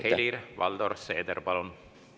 Helir-Valdor Seeder, palun!